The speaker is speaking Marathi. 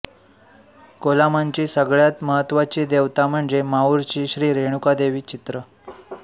कोलामांची सगळ्यात महत्त्वाची देवता म्हणजे माहूरची श्री रेणुका देवी चित्र